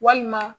Walima